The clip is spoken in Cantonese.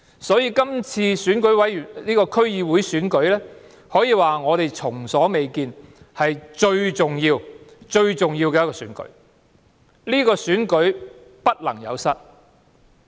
所以，今次區議會選舉是前所未見最重要的選舉，不能有失。